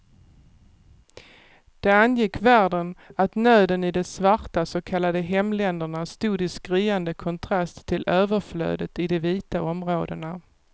Det angick världen att nöden i de svarta så kallade hemländerna stod i skriande kontrast till överflödet i de vita områdena.